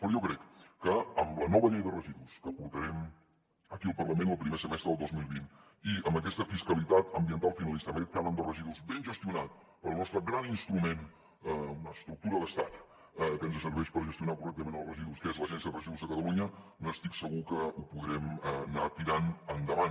però jo crec que amb la nova llei de residus que portarem aquí al parlament el primer semestre del dos mil vint i amb aquesta fiscalitat ambiental finalista amb aquest cànon de residus ben gestionat pel nostre gran instrument una estructura d’estat que ens serveix per gestionar correctament els residus que és l’agència de residus de catalunya estic segur que ho podrem anar tirant endavant